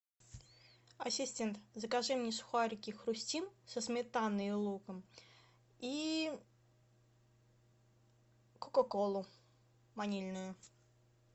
ассистент закажи мне сухарики хрустим со сметаной и луком и кока колу ванильную